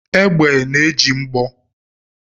Egbe na-eji mgbọ